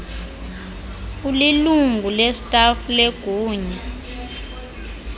ulilungu lestafu legunya